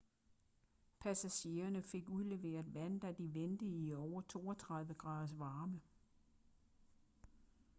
passagererne fik udleveret vand da de ventede i over 32 graders varme